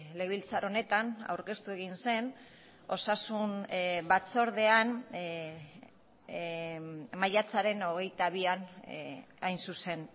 legebiltzar honetan aurkeztu egin zen osasun batzordean maiatzaren hogeita bian hain zuzen